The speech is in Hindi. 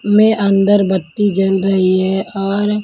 में अंगरबत्ती जल रही है और.